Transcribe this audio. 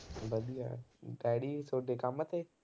ਵਧੀਆ daddy ਤੁਹਾਡੇ ਕੰਮ ਤੇ